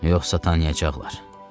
Yoxsa tanıyacaqlar.